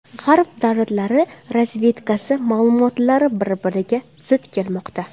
G‘arb davlatlari razvedkasi ma’lumotlari bir-biriga zid kelmoqda.